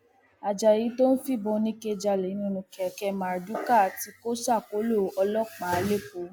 ajayi tó ń fìbọn oníke jálẹ nínú kẹkẹ marduká tí kò ṣàkólò ọlọpàá lẹkọọ